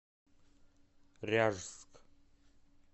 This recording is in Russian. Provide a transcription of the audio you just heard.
ряжск